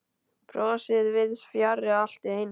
Brosið víðs fjarri allt í einu.